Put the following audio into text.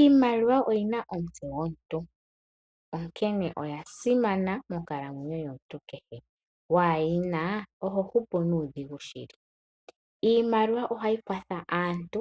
Iimaliwa oyi na omutse gomuntu, onkene oya simana monkalamwenyo yomuntu kehe, uuna waa yi na oho hupu nuudhigu shili. Iimaliwa ohayi kwatha aantu